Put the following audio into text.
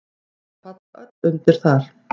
Þau falla öll þar undir.